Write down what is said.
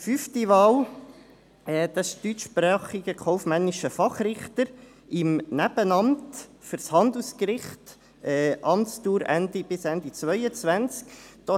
Fünfte Wahl: deutschsprachiger kaufmännischer Fachrichter im Nebenamt für das Handelsgericht, Amtsdauer bis Ende 2022.